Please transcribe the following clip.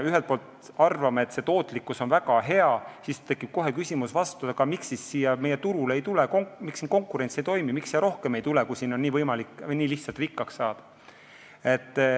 Kui me arvame, et tootlikkus on väga hea, siis tekib kohe küsimus, aga miks siis meie turul ei teki konkurentsi, miks siin konkurents ei toimi, miks siia ei tule rohkem tegutsejaid, kui siin on võimalik nii lihtsalt rikkaks saada.